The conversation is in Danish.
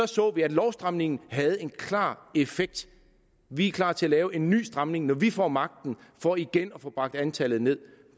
så at lovstramningen havde en klar effekt vi er klar til at lave en ny stramning når vi får magten for igen at få bragt antallet ned